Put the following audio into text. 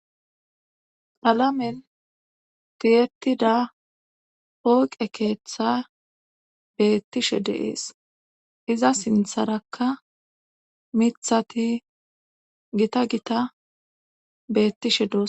K'alamen tiyetida pooqe keeththa beettishe deees iza sintharakka mithati gita gita bettishe dos.